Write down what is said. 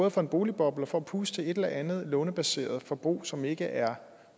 at få en boligboble og puste til et eller andet lånebaseret forbrug som ikke er